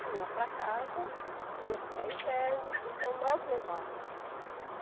Se ia para casa, se ia ficar interno, então nós levávamos.